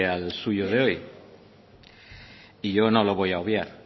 al suyo de hoy y yo no lo voy a obviar